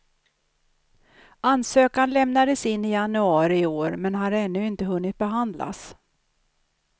Ansökan lämnades in i januari i år, men har ännu inte hunnit behandlas.